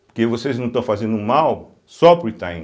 Porque vocês não estão fazendo um mal só para o Itaim.